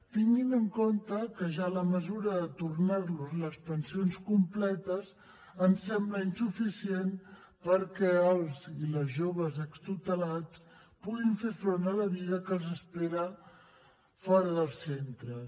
tinguin en compte que ja la mesura de tornar los les pensions completes ens sembla insuficient perquè els i les joves extutelats puguin fer front a la vida que els espera fora dels centres